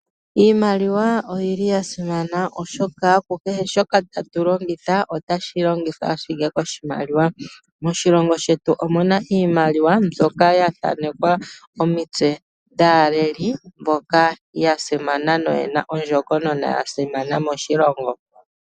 Iimaliwa oyili ya simana oshoka ku kehe shoka tatu longitha otashi longithwa ashike koshimaliwa. Moshilongo shetu omuna iimaliwa mbyoka ya thaanekwa omitse dhaaleli mboka ya simana noyena ondjokonona yasimana moshilongo.